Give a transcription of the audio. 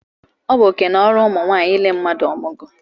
Ọ bụ oké na ọrụ ụmụ nwaanyị ile mmadụ ọmụgwọ